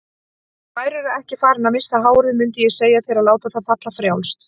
Værirðu ekki farinn að missa hárið mundið ég segja þér að láta það falla frjálst.